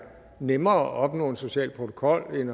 nemmere at opnå en social protokol end